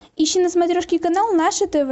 ищи на смотрешке канал наше тв